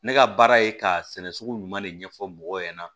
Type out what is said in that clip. Ne ka baara ye k'a sɛnɛ sugu ɲuman de ɲɛfɔ mɔgɔw ɲɛna